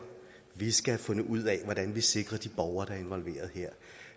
vi skal have fundet ud af hvordan vi sikrer de borgere der er involveret